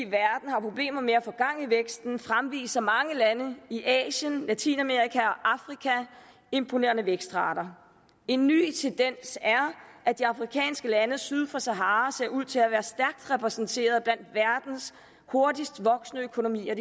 har problemer med at få gang i væksten fremviser mange lande i asien latinamerika og afrika imponerende vækstrater en ny tendens er at de afrikanske lande syd for sahara ser ud til at være stærkt repræsenteret blandt verdens hurtigst voksende økonomier